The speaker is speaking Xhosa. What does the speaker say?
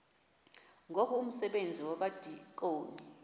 ngoku umsebenzi wabadikoni